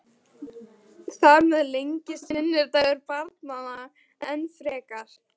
Hún var skarpgáfuð og fjandi fyndin, geðstór og handnett.